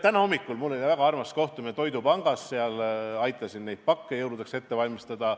Täna hommikul oli mul väga armas kohtumine toidupangas, ma aitasin seal pakke jõuludeks ette valmistada.